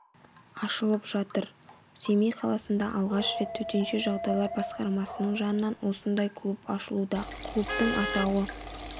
ашылып жатыр семей қаласында алғаш рет төтенше жағдайлар басқармасының жанынан осындай клуб ашылуда клубтың атауы